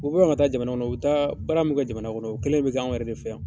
U bɛ bɔ yan ka taa jamana kɔnɔ u bɛ taa baara min kɛ jamana kɔnɔ o kelen de bɛ kɛ an yɛrɛ de fɛ yan.